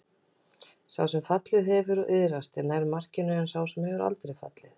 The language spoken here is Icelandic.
Sá sem fallið hefur og iðrast er nær markinu en sá sem aldrei hefur fallið.